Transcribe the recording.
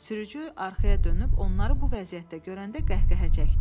Sürücü arxaya dönüb onları bu vəziyyətdə görəndə qəhqəhə çəkdi.